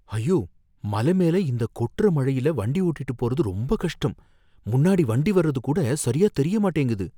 ஐயோ! மலை மேல இந்த கொட்டுற மழைல வண்டி ஓட்டிட்டு போறது ரொம்பக் கஷ்டம், முன்னாடி வண்டி வர்றது கூட சரியா தெரிய மாட்டேங்குது